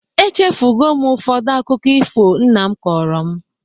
Echefugo m ụfọdụ akụkọ ifo nna m kọrọ m